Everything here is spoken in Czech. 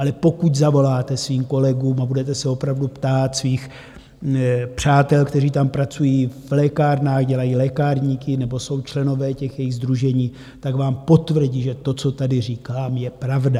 Ale pokud zavoláte svým kolegům a budete se opravdu ptát svých přátel, kteří tam pracují v lékárnách, dělají lékárníky nebo jsou členové těch jejich sdružení, tak vám potvrdí, že to, co tady říkám, je pravda.